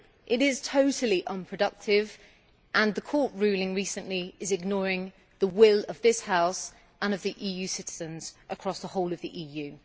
It is totally unproductive and the Court ruling recently is ignoring the will of this House and of EU citizens across the whole of the EU.